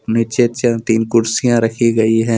नीचे तीन कुर्सियां रखी गईं है।